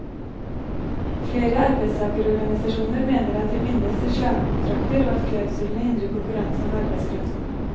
Flere arbeidstagerorganisasjoner mener at de bindes til slavekontrakter og at klausulene hindrer konkurranse om arbeidskraften.